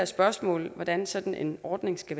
spørgsmålet om hvordan sådan en ordning skal